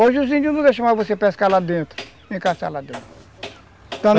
Hoje os índios não deixam mais você pescar lá dentro, nem caçar lá dentro.